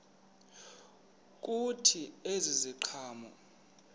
kuthi ezi ziqhamo